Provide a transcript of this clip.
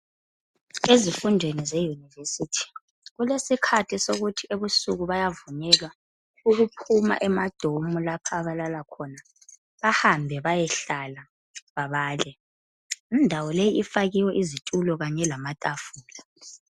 Ezifundweni ze Yunivesithi kulesikhathi sokuthi ebusuku bayavunyelwa ukuphuma emadomu lapha abalala khona bahambe bayehlala babale indawo le ifakiwe izitulo kanye lamatafula.